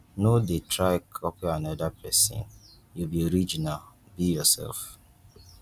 no de try copy another persin you be original be yourself